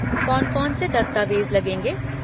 कौन कौन से दस्तावेज़ लगेंगे?